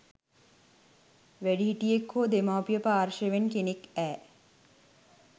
වැඩිහිටියෙක් හෝ දෙමව්පිය පාර්ශවයෙන් කෙනෙක්ඇ